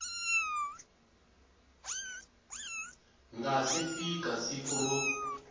nga si fika siku ro